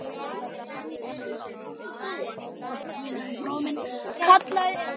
kallaði einn.